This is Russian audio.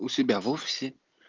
у себя в офисе